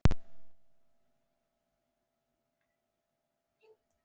Yfir þeim gat hann legið tímunum saman, skoðað og hugsað.